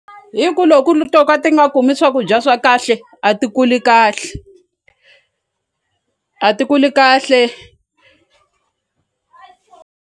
Hi ku loko to ka ti nga kumi swakudya swa kahle a ti kuli kahle a ti kuli kahle.